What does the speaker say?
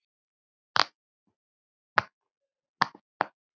Hver gerir þetta ekki?